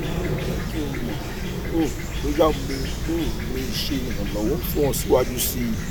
jẹ ki n mọ um boya mo um le ṣe iranlọwọ fun ọ siwaju sii